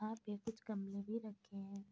यहां पे कुछ गमले भी रखे हैं।